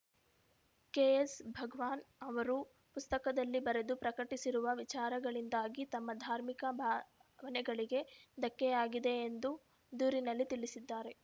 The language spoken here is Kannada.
ಕೆಎಸ್‌ಭಗವಾನ್‌ ಅವರು ಪುಸ್ತಕದಲ್ಲಿ ಬರೆದು ಪ್ರಕಟಿಸಿರುವ ವಿಚಾರಗಳಿಂದಾಗಿ ತಮ್ಮ ಧಾರ್ಮಿಕ ಭಾ ಭಾವನೆಗಳಿಗೆ ಧಕ್ಕೆಯಾಗಿದೆ ಎಂದು ದೂರಿನಲ್ಲಿ ತಿಳಿಸಿದ್ದಾರೆ